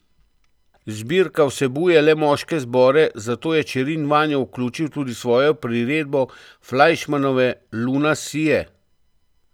Zbirka vsebuje le moške zbore, zato je Čerin vanjo vključil tudi svojo priredbo Flajšmanove Luna sije.